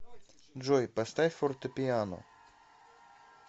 джой поставь фортепиано